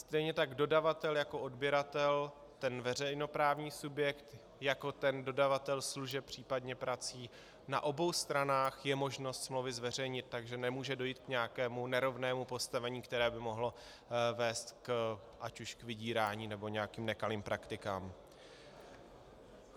Stejně tak dodavatel jako odběratel, ten veřejnoprávní subjekt jako ten dodavatel služeb, případně prací, na obou stranách je možno smlouvy zveřejnit, takže nemůže dojít k nějakému nerovnému postavení, které by mohlo vést ať už k vydírání, nebo nějakým nekalým praktikám.